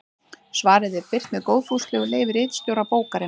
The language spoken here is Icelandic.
Svarið er birt með góðfúslegu leyfi ritstjóra bókarinnar.